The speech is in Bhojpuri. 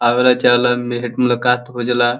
आवेला चलेलन भेट-मुलाकात हो जाला।